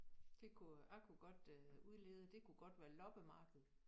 Det kunne øh jeg kunne godt øh udlede det kunne godt være loppemarked